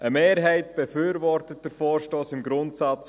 Eine Mehrheit befürwortet den Vorstoss nach dem Grundsatz: